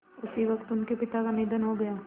उसी वक़्त उनके पिता का निधन हो गया